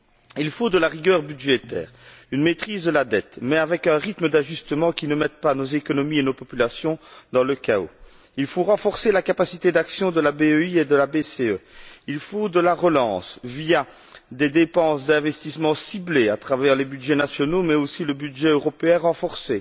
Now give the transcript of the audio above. Il faut de la rigueur budgétaire, une maîtrise de la dette, mais avec un rythme d'ajustement qui ne mette pas nos économies et nos populations dans le chaos. Il faut renforcer la capacité d'action de la BEI et de la BCE. Il faut de la relance via des dépenses d'investissement ciblées, au travers des budgets nationaux mais, aussi, du budget européen renforcé,